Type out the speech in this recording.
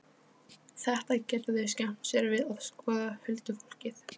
Þetta geta þau skemmt sér við að skoða, huldufólkið.